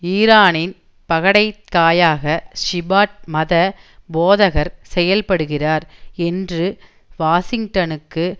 ஈரானின் பகடைக் காயாக ஷிபாட் மத போதகர் செயல்படுகிறார் என்று வாஷிங்டனுக்கு